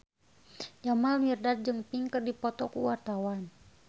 Jamal Mirdad jeung Pink keur dipoto ku wartawan